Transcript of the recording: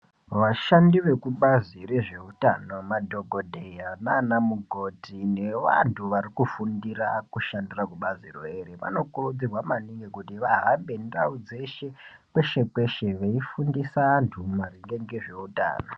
Vashandi vekubazi rezveutano madhokodheya nanamukoti nevantu vari kufundira kushandira kubazi rona iroro vanokurudzirwa maningi kuti vahambe ndau dzeshe kweshe kweshe veifundisa antu maringe ngezveutano .